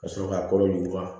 Ka sɔrɔ ka kɔrɔ